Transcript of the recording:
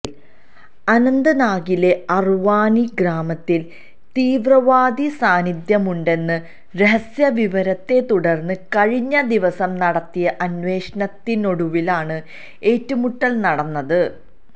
അനന്ത്നാഗിലെ അർവാനി ഗ്രാമത്തിൽ തീവ്രവാദി സാന്നിധ്യമുണ്ടെന്ന രഹസ്യ വിവരത്തെ തുടർന്ന് കഴിഞ്ഞ ദിവസം നടത്തിയ അന്വേഷണത്തിനൊടുവിലാണ് ഏറ്റുമുട്ടൽ നടന്നത്